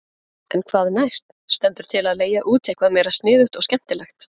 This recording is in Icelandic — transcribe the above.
En hvað næst, stendur til að leigja út eitthvað meira sniðugt og skemmtilegt?